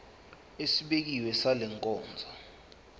esibekiwe sale nkonzo